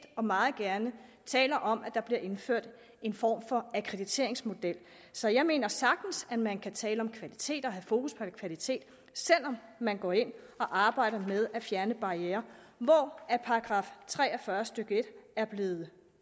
og meget gerne taler om at der bliver indført en form for akkrediteringsmodel så jeg mener sagtens man kan tale om kvalitet og have fokus på kvalitet selv om man går ind og arbejder med at fjerne barrierer hvor § tre og fyrre stykke en er blevet